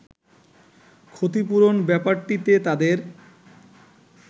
“ক্ষতিপূরণ ব্যাপারটিতে তাদের